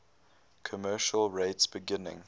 commercial rates beginning